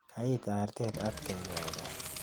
Kayi artet atkei karon